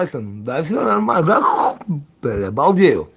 пальцем да все нормально да хуу бля балдею